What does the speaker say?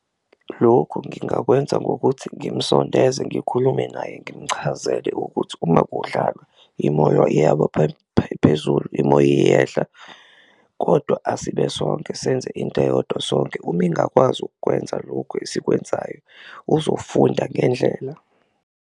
Lokhu ngingakwenza ngokuthi ngimsondeze, ngikhulume naye ngimchazele ukuthi uma kudlalwa imoyo iyaba phezulu, imoya iyehla kodwa asibe sonke senze into eyodwa sonke uma ingakwazi ukwenza lokhu esikwenzayo uzofunda ngendlela.